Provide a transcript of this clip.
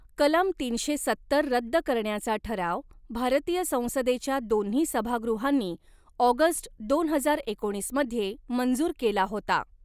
कलम तीनशे सत्तर रद्द करण्याचा ठराव भारतीय संसदेच्या दोन्ही सभागृहांनी ऑगस्ट दोन हजार एकोणीस मध्ये मंजूर केला होता.